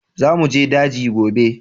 Za mu je daji gobe!